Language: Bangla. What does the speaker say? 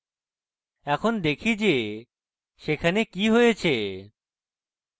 এখন দেখি যে সেখানে কি হয়েছে